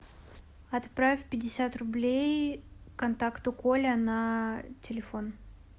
отправь пятьдесят рублей контакту коля на телефон